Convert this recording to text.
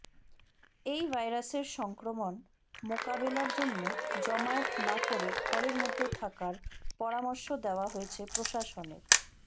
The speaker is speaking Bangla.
এই ভাইরাসের সংক্রমণ মোকাবেলার জন্য জমায়েত না করে ঘরের মধ্যে থাকার পরামর্শ দেওয়া হয়েছে প্রশাসনের